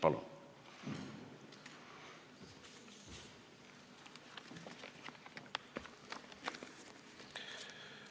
Palun!